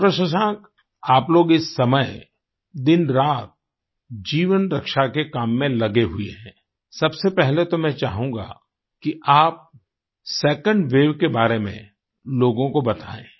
डॉ० शशांक आप लोग इस समय दिन रात जीवन रक्षा के काम में लगे हुए हैं सबसे पहले तो मैं चाहूँगा कि आप सेकंड वेव के बारे में लोगों को बताएं